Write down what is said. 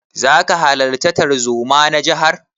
Zaka halarta tarzoma na jihar?